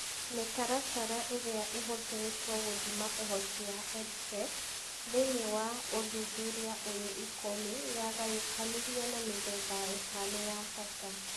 Mĩtaratara ĩrĩa ĩhũthĩrĩtwo gũthima ũhoti wa EdTech thĩinĩ wa ũthuthuria ũyũ ikũmi yagayũkanirio na mĩthemba ĩtano ya bata: